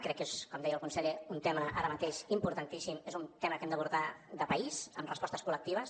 crec que com deia el conseller és un tema ara mateix importantíssim és un tema que hem d’abordar de país amb respostes col·lectives